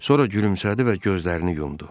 Sonra gülümsədi və gözlərini yumdu.